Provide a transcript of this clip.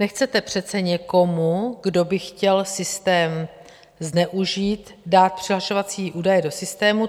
Nechcete přece někomu, kdo by chtěl systém zneužít, dát přihlašovací údaje do systému.